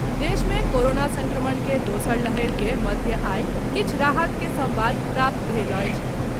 देश मे कोरोना संक्रमण के दोसर लहरि के मध्य आई किछु राहत के संवाद प्राप्त भेल अछि।